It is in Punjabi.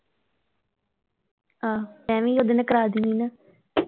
ਆਹੋ ਮੈਂ ਵੀ ਉਹਦੇ ਨਾਲ ਕਰਾ ਦਿਨੀਂ ਆ ਨਾਂ।